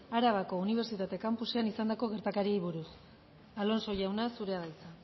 arabako unibertsitate campusean izandako gertakariei buruz alonso jauna zurea da hitza